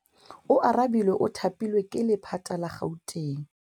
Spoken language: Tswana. Oarabile o thapilwe ke lephata la Gauteng.